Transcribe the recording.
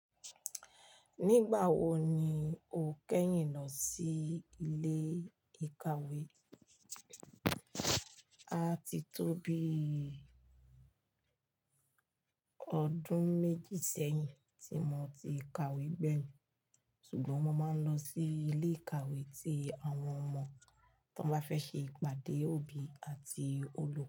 Nígbà wo ni o kẹ́yìn lọ sí ilé ìkàwé? A ti tó bí ọdún méjì sẹ́yìn tí mo ti ka ìwé gbẹ̀yìn, ṣùgbọ́n mo máa ń lọ sí ilé ìkàwé tí àwọn ọmọ tó bá fẹ́ ṣe ìpàdé òbí àti oló.